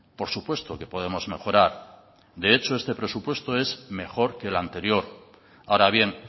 por supuesto que podemos mejorar de hecho este presupuesto es mejor que el anterior ahora bien